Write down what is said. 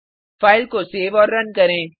file को save और run करें